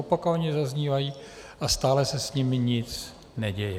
Opakovaně zaznívají a stále se s nimi nic neděje.